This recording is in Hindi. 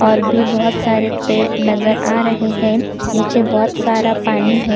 और भी बहोत सारे पेड़ नज़र आ रहे है नीचे बहोत सारा पानी है ।